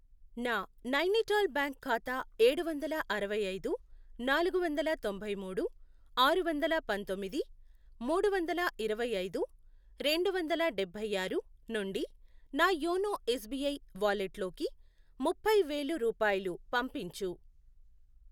నా నైనిటాల్ బ్యాంక్ ఖాతా ఏడువందల అరవై ఐదు, నాలుగు వందల తొంభై మూడు, ఆరు వందల పంతొమ్మిది, మూడు వందల ఇరవై ఐదు, రెండు వందల డబ్బై ఆరు, నుండి నా యోనో ఎస్ బీ ఐ వాలెట్లోకి ముప్పై వేలు రూపాయలు పంపించు.